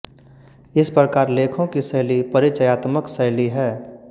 इस प्रकार लेखों की शैली परिचयात्मक शैली है